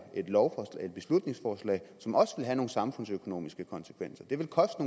et beslutningsforslag som også vil have nogle samfundsøkonomiske konsekvenser det vil koste